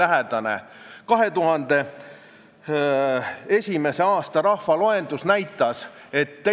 Sven Sester näiteks on kirjutanud 13. septembril: "Eesti keele oskus tagab võrdväärsed võimalused nii kultuuriruumis kui ka tööturul.